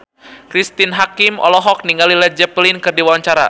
Cristine Hakim olohok ningali Led Zeppelin keur diwawancara